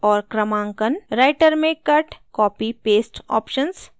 writer में cut copy paste options